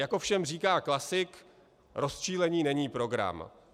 Jak ovšem říká klasik, rozčilení není program.